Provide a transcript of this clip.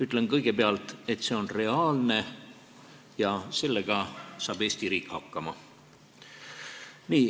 Ütlen kõigepealt, et see üleminek on reaalne ja sellega saab Eesti riik hakkama.